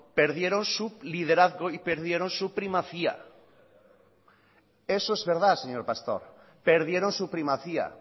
perdieron su liderazgo y perdieron su primacía eso es verdad señor pastor perdieron su primacía